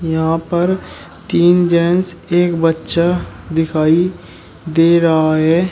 यहां पर तीन जेंट्स एक बच्चा दिखाई दे रहा है।